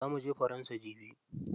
Za muje faransa jibi.